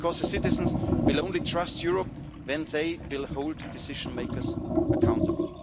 Because the citizens will only trust Europe when they will hold decision makers accountable.